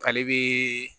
Ale bi